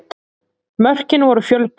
Mörkin voru fjölbreytt